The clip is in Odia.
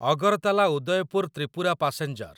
ଅଗରତାଲା ଉଦୟପୁର ତ୍ରିପୁରା ପାସେଞ୍ଜର